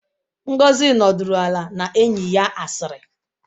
Ngozi nọdụrụ ala na enyi ya asịrị